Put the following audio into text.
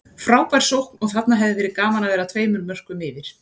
Frábær sókn og þarna hefði verið gaman að vera tveimur mörkum yfir.